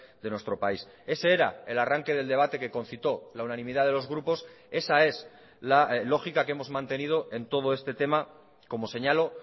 de nuestro país ese era el arranque del debate que concitó la unanimidad de los grupos esa es la lógica que hemos mantenido en todo este tema como señalo